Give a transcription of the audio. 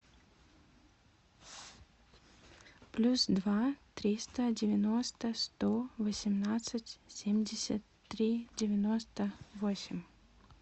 плюс два триста девяносто сто восемнадцать семьдесят три девяносто восемь